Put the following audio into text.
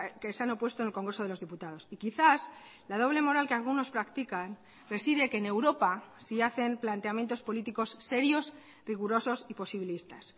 que se han opuesto en el congreso de los diputados y quizás la doble moral que algunos practican reside que en europa sí hacen planteamientos políticos serios rigurosos y posibilistas